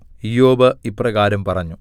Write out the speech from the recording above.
ഇയ്യോബ് ഇപ്രകാരം പറഞ്ഞു